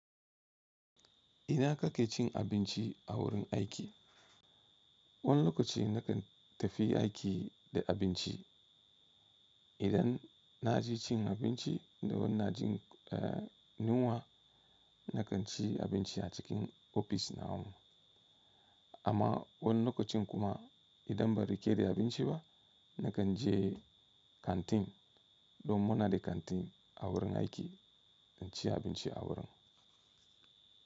Ina kake cin abinci a wurin aiki? Wani lokaci na kan tafi aiki da abinci. Idan na je cin abinci da wannan na jin, eh, ninuwa, na kan ci abinci a cikin ofis nawa. Amma wani lokacin kuma idan ban rike da abinci ba, na kan je kanti don muna da kanti a wurin aiki, na ci abinci a wurin.